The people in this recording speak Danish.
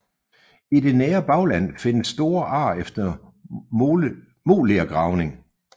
I det nære bagland findes store ar efter molergravning